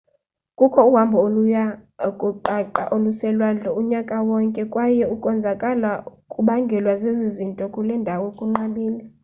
kukho uhambo oluya kuqaqa oluselwandle unyaka wonke kwaye ukonzakala okubangelwa zezi zinto kule ndawo kunqabile